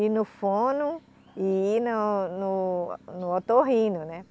ir no fono e ir no no no otorrino, né?